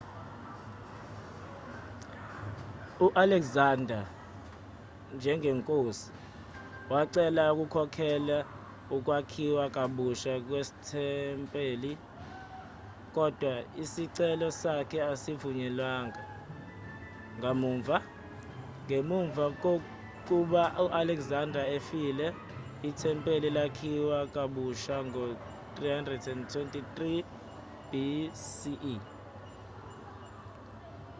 u-alexander njengenkosi wacela ukukhokhelela ukwakhiwa kabusha kwethempeli kodwa isicelo sakhe asivunyelwanga kamuva ngemva kokuba u-alexander efile ithempeli lakhiwa kabusha ngo-323 bce